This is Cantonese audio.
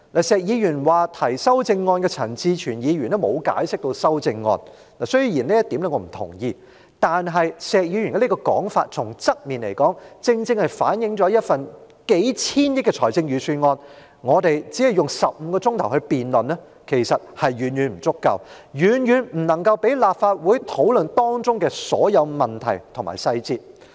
石議員說提出修正案的陳志全議員沒有給予解釋，雖然我不同意這一點，但石議員這說法正正從側面反映出，對於一份數千億元的財政預算案，我們只用15小時來辯論，其實遠遠不足夠，未能讓立法會討論當中的所有問題和細節。